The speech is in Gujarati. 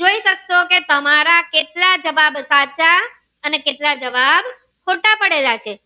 જોઈ સક્સો કે તમારા કેટલા જવાબ સાચા અને કેટલા જવાબ સાચા પડેલા છે